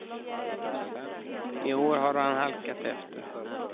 I år har han halkat efter.